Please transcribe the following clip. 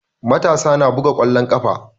Matasa na buga ƙwallon ƙafa.